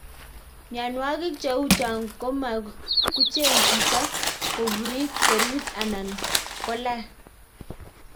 Miankwong cheu chong komakucheng chito kopurit serut anan kolan.